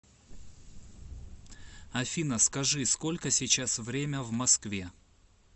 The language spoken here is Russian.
афина скажи сколько сейчас время в москве